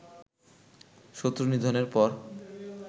শত্রু নিধনের পর